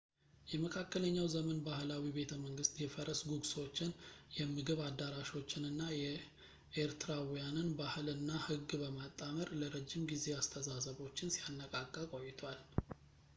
የመካከለኛው ዘመን ባህላዊ ቤተመንግስት የፈረስ ጉግሶችን የምግብ አዳራሾችን እና የኤርትራውያንን ባህል እና ህግ በማጣመር ለረጅም ጊዜ አስተሳሰቦችን ሲያነቃቃ ቆይቷል